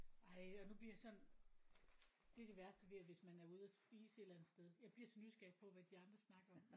Ej og nu bliver jeg sådan det det værste ved at hvis man er ude og spise et eller andet sted. Jeg bliver så nysgerrig på hvad de andre snakker om